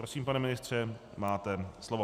Prosím, pane ministře, máte slovo.